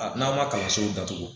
A n'a ma kalanso datugu